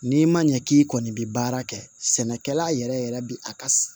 N'i ma ɲɛ k'i kɔni bi baara kɛ sɛnɛkɛla yɛrɛ bi a ka